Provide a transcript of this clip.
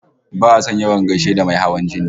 Ba'a son yawan gaishe da mai hawan jini